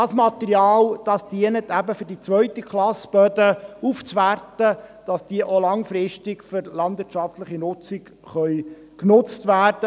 Dieses Material dient eben dieser zweiten Klasse, um Böden aufzuwerten, damit diese langfristig für die landwirtschaftliche Nutzung zur Verfügung stehen.